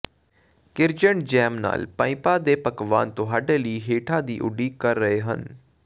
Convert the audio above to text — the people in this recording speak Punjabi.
ਕੀਰਜੈਂਟ ਜੈਮ ਨਾਲ ਪਾਈਪਾਂ ਦੇ ਪਕਵਾਨ ਤੁਹਾਡੇ ਲਈ ਹੇਠਾਂ ਦੀ ਉਡੀਕ ਕਰ ਰਹੇ ਹਨ